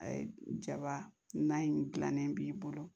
A ye jaba nan in gilannen b'i bolo